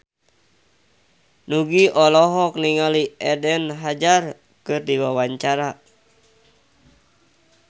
Nugie olohok ningali Eden Hazard keur diwawancara